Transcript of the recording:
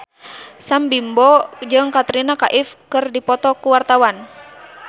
Sam Bimbo jeung Katrina Kaif keur dipoto ku wartawan